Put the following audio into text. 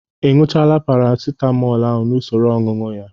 Ị ñụchaala Paracitamọl ahụ n'usoro ọñụñụ ya?